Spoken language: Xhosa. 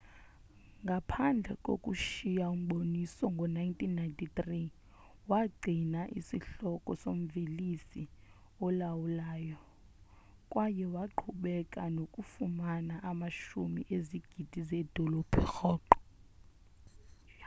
ngaphandle kokushiya umboniso ngo-1993 wagcina isihloko somvelisi olawulayo kwaye waqhubeka nokufumana amashumi ezigidi zeedola rhoqo